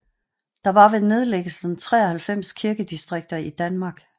Der var ved nedlæggelsen 93 kirkedistrikter i Danmark